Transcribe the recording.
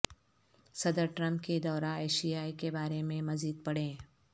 صدر ٹرمپ کے دورہ ایشیا کے بارے میں مزید پڑھیں